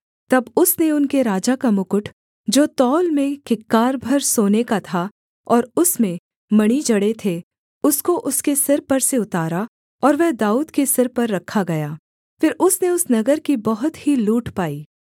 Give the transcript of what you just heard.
तब उसने उनके राजा का मुकुट जो तौल में किक्कार भर सोने का था और उसमें मणि जड़े थे उसको उसके सिर पर से उतारा और वह दाऊद के सिर पर रखा गया फिर उसने उस नगर की बहुत ही लूट पाई